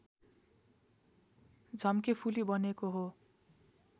झम्केफुली बनेको हो